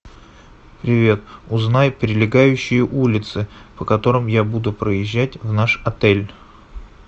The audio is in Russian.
привет узнай прилегающие улицы по которым я буду проезжать в наш отель